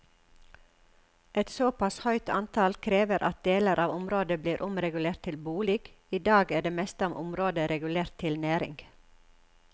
Et såpass høyt antall krever at deler av området blir omregulert til bolig, i dag er det meste av området regulert til næring.